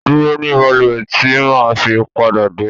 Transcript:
Dúró ní bàlúwè tí màá fi pádà dé.